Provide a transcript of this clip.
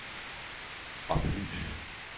oplys